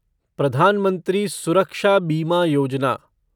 प्रधान मंत्री सुरक्षा बीमा योजना